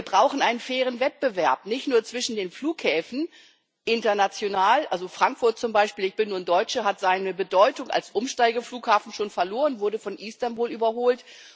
Wir brauchen einen fairen Wettbewerb, nicht nur zwischen den Flughäfen. International Frankfurt zum Beispiel ich bin nun Deutsche hat seine Bedeutung als Umsteigeflughafen schon verloren und wurde von Istanbul überholt.